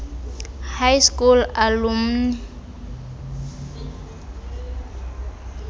high school alumni